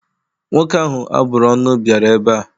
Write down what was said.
Nwoke ahụ a bụrụ ọnụ bịara ebe a.